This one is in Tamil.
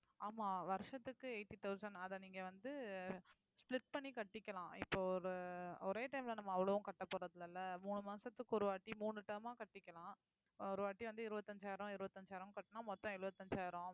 ஆமா வருஷத்துக்கு eighty thousand அத நீங்க வந்து split பண்ணி கட்டிக்கலாம் இப்போ ஒரு ஒரே time ல நம்ம அவ்வளவும் கட்டப்போறது இல்லலை மூணு மாசத்துக்கு ஒரு வாட்டி மூணு term ஆ கட்டிக்கலாம் ஒரு வாட்டி வந்து இருவத்தஞ்சாயிரம் இருவத்தஞ்சாயிரம் கட்டுனா மொத்தம் எழுபத்தஞ்சாயிரம்